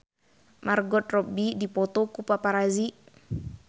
Margot Robbie dipoto ku paparazi